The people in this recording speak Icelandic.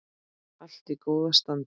Allt í góðu standi.